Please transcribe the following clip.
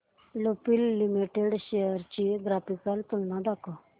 Lupin limited shares ची graphical तुलना दाखव